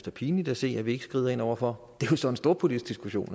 er pinligt at se at vi ikke skrider over for jo så en storpolitisk diskussion